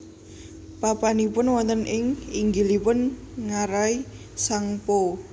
Papanipun wonten ing inggilipun ngarai Tsangpo